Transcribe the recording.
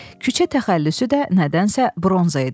Küçə təxəllüsü də nədənsə bronza idi.